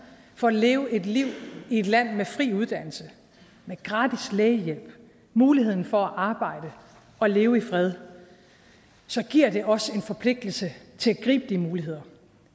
for at leve et liv i et land med fri uddannelse med gratis lægehjælp med muligheden for at arbejde og leve i fred så giver det også en forpligtelse til at gribe de muligheder